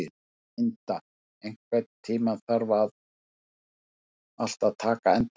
Inda, einhvern tímann þarf allt að taka enda.